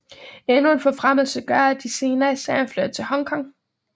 Endnu en forfremmelse gør at de senere i serien flytter til Hong Kong